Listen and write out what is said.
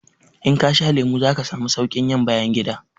In kasha lemu zaka samu saukin yin bayangida